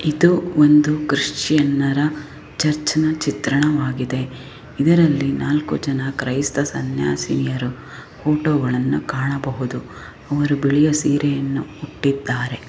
ಇದು ಒಂದು ಕ್ರಿಶ್ಚಿಯನ್ರ ಚರ್ಚಿನ ಚಿತ್ರಣವಾಗಿದೆ ಇದರಲ್ಲಿ ನಾಲ್ಕು ಜನ ಕ್ರಯ್ಸ್ತ ಸನ್ಯಾಸಿನಿಯರ ಫೋಟೋಗಳನ್ನು ಕಾಣಬಹುದು ಅವರು ಬಿಳಿಯ ಸೀರೆಯನ್ನಾ ಇಟ್ಟಿದ್ದಾರೆ .